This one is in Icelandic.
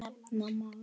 Nefna má